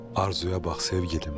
Arzuya bax sevgilim.